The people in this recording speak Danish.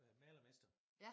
Været malermester